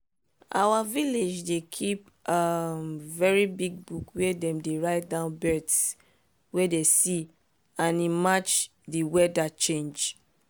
our village dey kip um very big book where dem dey write down birds wey dem see and e match dey weather change.